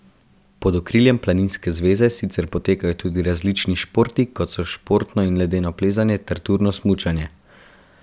Pod okriljem planinske zveze sicer potekajo tudi različni športi kot so športno in ledeno plezanje ter turno smučanje.